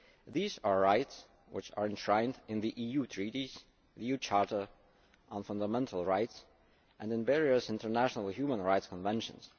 These are rights which are enshrined in the EU Treaties, the EU Charter of Fundamental Rights and in various international human rights conventions.